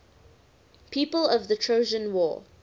people of the trojan war